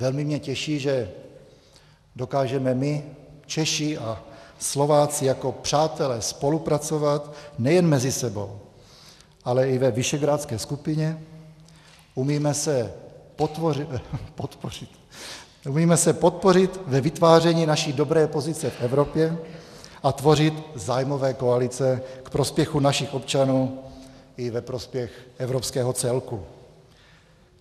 Velmi mě těší, že dokážeme my, Češi a Slováci, jako přátelé spolupracovat nejen mezi sebou, ale i ve Visegrádské skupině, umíme se podpořit ve vytváření naší dobré pozice v Evropě a tvořit zájmové koalice k prospěchu našich občanů i ve prospěch evropského celku.